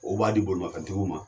U b'a di bolimafɛntigiw ma